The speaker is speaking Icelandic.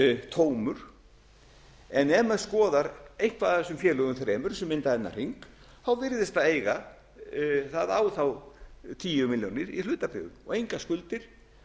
tómur en ef menn skoða eitthvað af erum félögum þremur sem mynda þennan hring virðist það eiga það á þá tíu milljónir í hlutabréfum og engar skuldir